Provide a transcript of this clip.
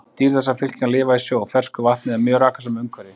Dýr þessarar fylkingar lifa í sjó, fersku vatni eða mjög rakasömu umhverfi.